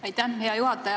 Aitäh, hea juhataja!